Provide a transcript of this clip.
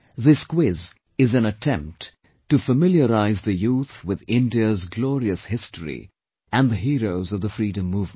This quiz is an attempt to familiarise the youth with India's glorious history and the heroes of the freedom movement